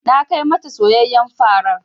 Na kai ma ta soyayyen farar.